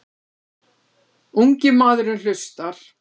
Ungi maðurinn hlustar.